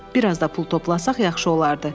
Bir az da pul toplasaq yaxşı olardı.